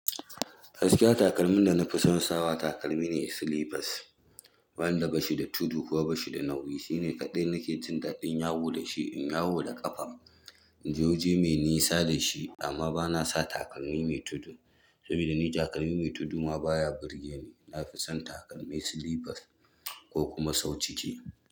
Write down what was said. Gaskiya takalmin da na fi son sawa takalmi ne slippers. Wanda bashi da tudu ba bashi da nauyi. Shi ne kaɗai nake jin daɗin yawo da shi in yawo da ƙafa, in je waje mai nisa da shi amma bana sa takalmi mai tudu. Saboda ni takalmi mai tudu ma baya burge ni. Na fi son takalmi slippers ko kuma sau ciki.